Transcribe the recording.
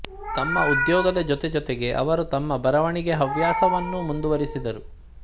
ತಮ್ಮ ಉದ್ಯೋಗದ ಜೊತೆ ಜೊತೆಗೆ ಅವರು ತಮ್ಮ ಬರವಣಿಗೆ ಹವ್ಯಾಸವನ್ನೂ ಮುಂದುವರೆಸಿದರು